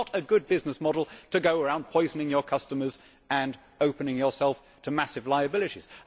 It is not a good business model to go around poisoning your customers and opening yourself to massive liabilities.